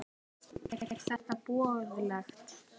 Er þetta boðlegt?